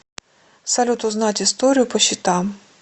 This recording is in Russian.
салют узнать историю по счетам